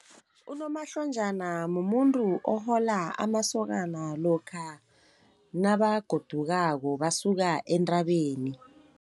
Unomahlonjana mumuntu ohola amasokana, lokha nabagodukako basuka entabeni.